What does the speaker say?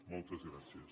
moltes gràcies